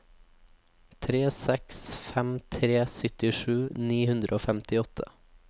tre seks fem tre syttisju ni hundre og femtiåtte